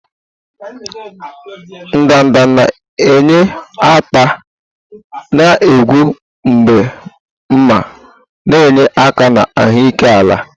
ndanda na-enye ata na-egbu mgbu ma na-enye aka na ahụike ala.